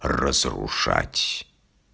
разрушать